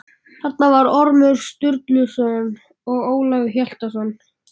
Þarna var Ormur Sturluson og Ólafur Hjaltason.